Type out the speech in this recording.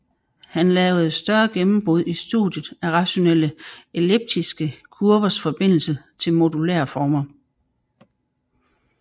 Han lavede større gennembrud i studiet af rationelle elliptiske kurvers forbindelse til modulære former